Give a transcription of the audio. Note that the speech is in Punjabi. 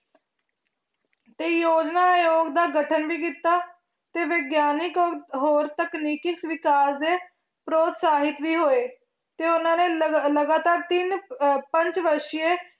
ਤੇ ਯੋਜਨਾ ਆਯੋਗ ਦਾ ਗਠਨ ਵੀ ਕੀਤਾ ਤੇ ਵਿਗਿਆਨਕ ਹੋਰ ਤਕਨੀਕੀ ਵਿਕਾਸ ਦੇ ਪ੍ਰੋਤਸਾਹਿਤ ਵੀ ਹੋਏ ਤੇ ਉਹਨਾਂ ਨੇ ਲਗ~ ਲਗਾਤਾਰ ਤਿੰਨ ਅਹ ਪੰਜ ਵਰਸੀਏ